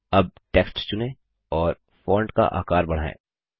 अब टेक्स्ट चुनें और फॉन्ट का आकार बढ़ाएँ